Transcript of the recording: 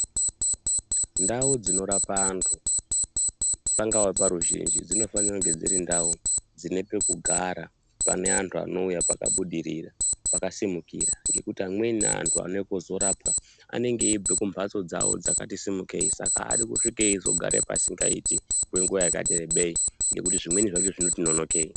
Ndau dzinorapwa antu pangava paruzhinji dzinofanira kunge dziri ndau dzine pekugara pane antu anouya pakabudirira pakasimukira ngekuti antu anouya kuzorapwa anenge eibva kumbhatso dzawo dzakati simukei saka aadi kusvika eizogara pasingaiti kwenguwa yakati rebei ngekuti zvimweni zvakona zvizoti nonokei.